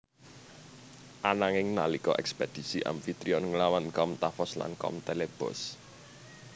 Ananging nalika ekspedisi Amfitrion nglawan kaum Tafos lan kaum Telebos